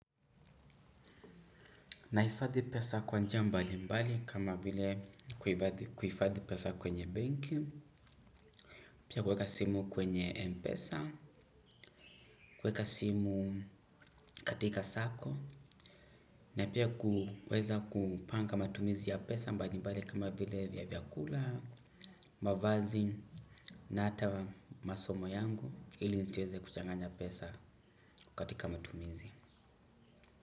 Nahifadhi pesa kwa njia mbali mbali kama vile kuhifadhi pesa kwenye banki, pia kuweka simu kwenye pesa, kuweka simu katika sako, na pia kuweza kupanga matumizi ya pesa mbali mbali kama vile vya vyakula, mavazi na hata masomo yangu ili nisiweze kuchanganya pesa katika matumizi.